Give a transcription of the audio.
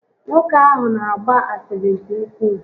Nwoke ahụ n'agba asịrị nke ukwuu